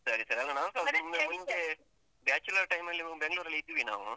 ಸರಿ ಸರಿ ಅಂದ್ರೆ . bachelor time ಅಲ್ಲಿ ಬೆಂಗ್ಳೂರಲ್ಲಿ ಇದ್ವಿ ನಾವು.